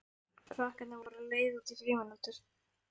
Krakkarnir voru á leið út í frímínútur.